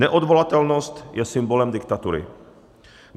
Neodvolatelnost je symbolem diktatury.